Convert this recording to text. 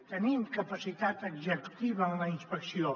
tenim capacitat executiva en la inspecció